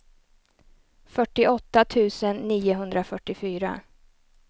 fyrtioåtta tusen niohundrafyrtiofyra